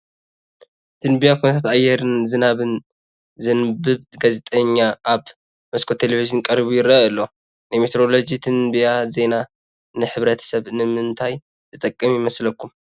ትንበያ ኩነታት ኣየርን ዝናብን ዘንብብ ጋዜጠኛ ኣብ መስኮት ቴለቪን ቀሪቡ ይርአ ኣሎ፡፡ ናይ ሜትሮሎጂ ትንበያ ዜና ንሕብረተሰብ ንምንታይ ዝጠቅም ይመስለኩም?